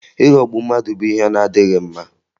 Ịghọgbu mmadụ bụ ihe na-adịghị mma